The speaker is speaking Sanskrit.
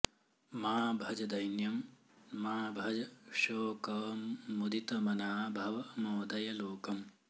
मा भज दैन्यं मा भज शोकम् मुदितमना भव मोदय लोकम्